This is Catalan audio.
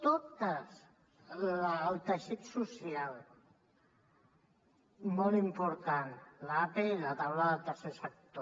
totes el teixit social molt important l’ape i la taula del tercer sector